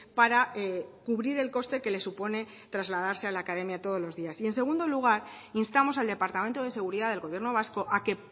para cubrir el coste que le supone trasladarse a la academia todos los días en segundo lugar instamos al departamento de seguridad del gobierno vasco a que